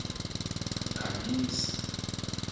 khanyisa